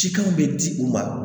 Sikan bɛ di u ma